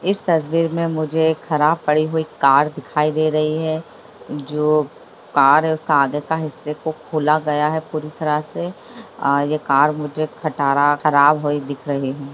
इस तस्वीर में मुझे खराब पड़ी हुई कार दिखाई दे रही है जो कार है उसके आगे के हिस्से को खोला गया है पूरी तरह से कार मुझे खठहरा खराब हुई दिखाई दे रही है।